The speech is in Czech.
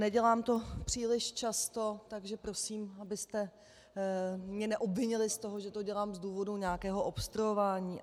Nedělám to příliš často, takže prosím, abyste mě neobvinili z toho, že to dělám z důvodu nějakého obstruování.